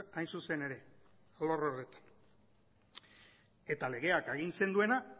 hain zuzen ere alor horretan eta legeak agintzen duena